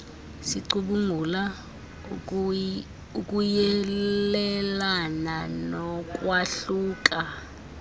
sicubungula ukuyelelana nokwahluka